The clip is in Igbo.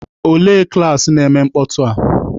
Olee klaasị na-eme mkpọtụ a?